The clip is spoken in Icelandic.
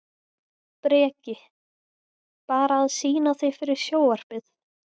Breki: Bara að sýna þig fyrir sjónvarpið?